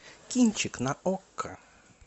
кинчик на окко